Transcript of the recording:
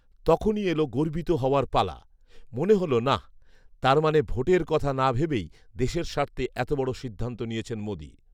তখনই এল গর্বিত হওয়ার পালা৷ মনে হল, নাহ্৷ তার মানে ভোটের কথা না ভেবেই দেশের স্বার্থে এত বড় সিদ্ধান্ত নিয়েছেন মোদি৷